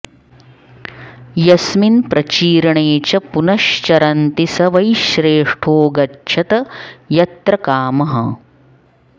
यस्मिन्प्रचीर्णे च पुनश् चरन्ति स वै श्रेष्ठो गच्छत यत्र कामः